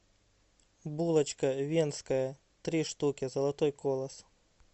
булочка венская три штуки золотой колос